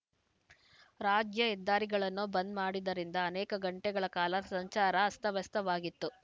ರಾಜ್ಯ ಹೆದ್ದಾರಿಗಳನ್ನು ಬಂದ್‌ ಮಾಡಿದ್ದರಿಂದ ಅನೇಕ ಗಂಟೆಗಳ ಕಾಲ ಸಂಚಾರ ಅಸ್ತವ್ಯಸ್ತವಾಗಿತ್ತು